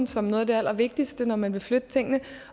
som noget af det allervigtigste når man vil flytte tingene